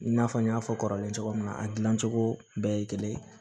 I n'a fɔ n y'a fɔ kɔrɔlen cogo min na a dilancogo bɛɛ ye kelen ye